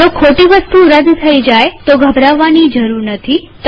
જો ખોટી વસ્તુ રદ થઇ જાય તો ગભરાવાની જરૂર નથી